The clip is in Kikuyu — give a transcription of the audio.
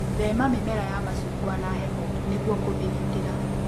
Thema mĩmera ya macungwa na heho nĩguo kũmĩgitĩra.